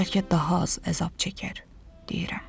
Bəlkə daha az əzab çəkər, deyirəm.